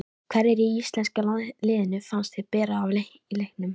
Hverjir í íslenska liðinu fannst þér bera af í leiknum?